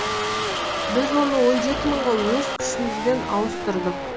біз оны он жеті мыңға өз күшімізбен ауыстырдық